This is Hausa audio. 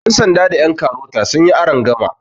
yansanda da yankarota sun yi arangama